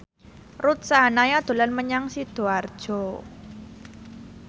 Ruth Sahanaya dolan menyang Sidoarjo